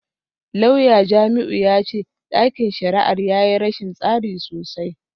Lauya Jamiu ya ce dakin shari’ar ya yi rashin tsari sosai.